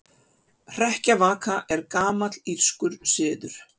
Hrekkjavaka er gamall írskur siður.